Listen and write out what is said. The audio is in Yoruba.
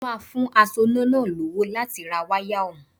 Mo máa fún asoná náà lówó láti ra wáyà ọ̀hún